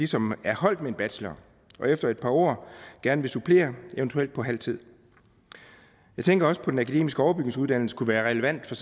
som er holdt med en bachelor og efter et par år gerne vil supplere eventuelt på halv tid jeg tænker også på at den akademiske overbygningsuddannelse kunne være relevant for